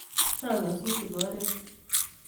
Chag nyosutik oret